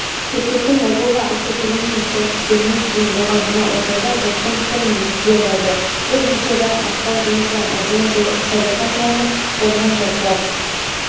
бүркіттің логово атты фильмінің тұсаукесерінен кейін болған мына оқиға жұрттың пікірін екіге жарды бұл видеода мақпал жүнісова мәдина сәдуақасованы қолынан жұлқылап